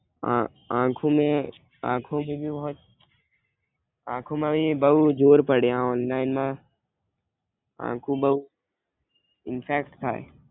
આ આંખો મેં. આખો એવી હોય. આખો માં અહીં બવ જોર પડે હો ઓનલાઇનમાં આખો બવ ઇંફેક્ટ થાય.